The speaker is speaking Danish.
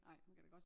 Nej man kan da godt